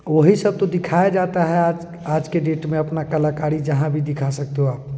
वही सब तो दिखाया जाता है आज के डेट में अपना कलाकारी जाहा भी दिखा सकते हो आपलोग--